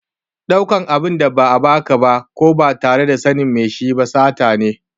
Ɗaukan abin da ba a ba ka ba ko ba tare da sanin mai shi ba sata ne.